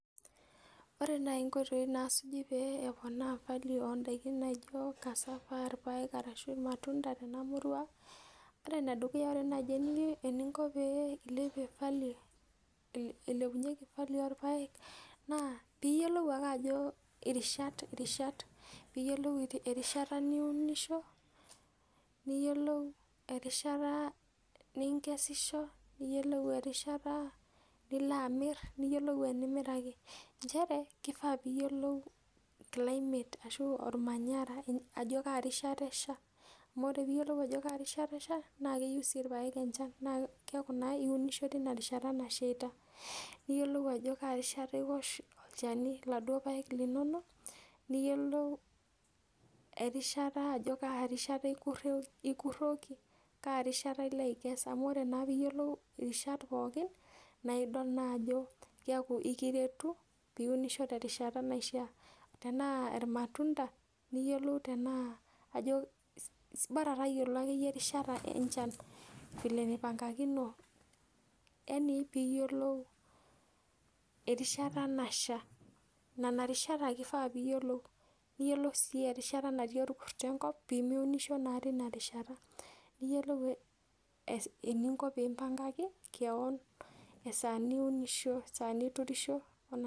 Ore naai inkoitoi naasuji pee eponaa value oo ndaiki naijo cassava, irpaek arashu irmatunda tena murwa, ore enedukuya ore baai eninko pee ilepunyeki value ilepie value orpaek naa piiyiolou ake ajo irishat, irishat. Piiyiolou erishata niunisho, niyiolou erishata ninkesisho, neyiolou erishata nilo amirr, niyiolou enimiraki. Nchere, kifaa piiyiolou climate ashu ormanyara ajo kaa rishata esha, amu ore piiyiolou ajo kaa rishata esha naa keyiu sii irpaek enchan naa keeku naa iunisho teina rishata nasheita. Niyiolou ajo kaa rishata iwosh olchani kulo paek linonok, niyiolou erishata ajo kaa rishata ekureoki, kaa rishata ilo aikes amu ore naa piiyiolou irishat pookin naidol naa ajo keaku aikiretu piasisho terishata naishia. Tenaa irmatunda niyiolou tenaa, bara tayiolo akeyie erishata enchan vile nipangakino. yani piiyiolou erishata nasha. Nena rishat ake ifaa piiyiolou, niyiolou sii erishata natii orkurto enkop pee miunisho naa teina rishata, niyiolou eninko peempangaki keon esaa niunisho, esaa niturisho